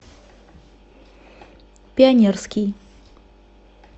пионерский